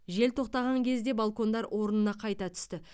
жел тоқтаған кезде балкондар орнына қайта түсті